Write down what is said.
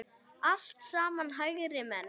Allt saman hægri menn!